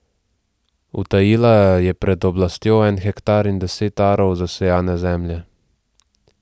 Utajila je pred oblastjo en hektar in deset arov zasejane zemlje.